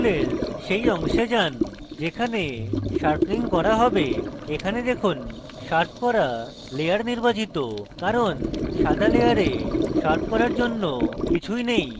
ফুলের সেই অংশে যান যেখানে sharpening করা হবে এবং এখানে দেখুন শার্প করা layer নির্বাচিত কারণ সাদা layer শার্প করার জন্য কিছুই নেই